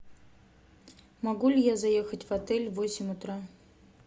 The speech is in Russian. могу ли я заехать в отель в восемь утра